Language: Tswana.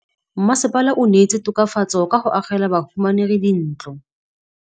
Mmasepala o neetse tokafatsô ka go agela bahumanegi dintlo.